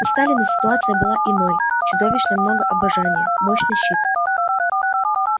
у сталина ситуация была иной чудовищно много обожания мощный щит